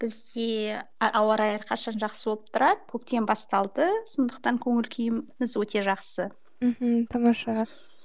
бізде ауа райы әрқашан жақсы болып тұрады көктем басталды сондықтан көңіл күйіміз өте жақсы мхм тамаша